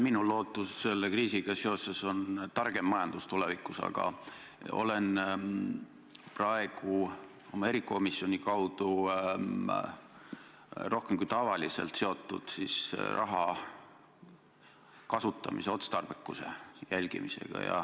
Minu lootus selle kriisiga seoses on targem majandus tulevikus, aga olen praegu oma erikomisjoni kaudu rohkem kui tavaliselt seotud raha kasutamise otstarbekuse jälgimisega.